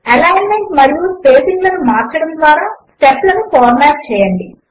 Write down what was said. alignment మరియు spacing లను మార్చడము ద్వారా స్టెప్ లను ఫార్మాట్ చేయండి